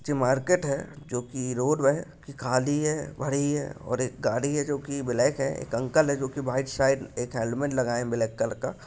ये मार्केट है जो कि रोड है खाली है भरी है और एक गाड़ी है जो कि ब्लैक है एक अंकल है जो कि व्हाइट शायद एक हेलमेट लगाये है ब्लैक कलर का।